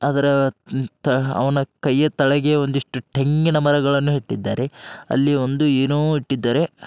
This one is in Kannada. ಆದ್ರ ನ್ ತ್ ಅವನ ಕೈ ತಳಗೆ ಒಂದ್ ಇಷ್ಟು ತೆಂಗಿನ ಮರಳನ್ನು ಇಟ್ಟಿದ್ದಾರೆ. ಅಲ್ಲಿ ಒಂದು ಏನೋ ಇಟ್ಟಿದ್ದಾರೆ. ಅಹ್ --